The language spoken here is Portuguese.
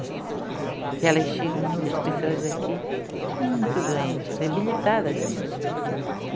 Porque elas chegam muitas pessoas aqui muito doentes, debilitadas mesmo.